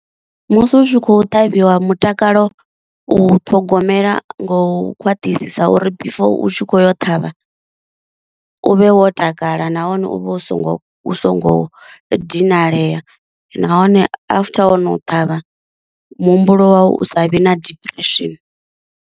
Musi u tshi kho ṱhavhiwa mutakalo u ṱhogomela ngo u khwaṱhisa uri before u tshi kho yo ṱhavha, u vhe wo takala nahone u vha u songo u songo dinalea nahone after wono ṱavha muhumbulo wau u sa vhi na depression.